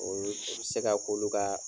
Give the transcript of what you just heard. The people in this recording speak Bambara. Olu i bɛ se ka k'olu ka